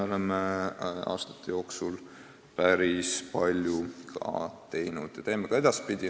Oleme seda aastate jooksul päris palju teinud ja teeme ka edaspidi.